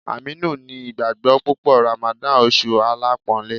Aminu ni ìgbàgbọ́ púpọ̀ Ramadan, oṣù alápọ̀ńlé.